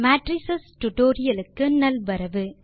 matrix tutorial க்கு நல்வரவு